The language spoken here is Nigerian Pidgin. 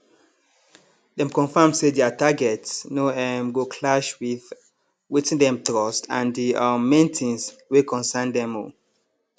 dem confirm say their targets no um go clash with wetin dem trust and di um main things wey concern dem um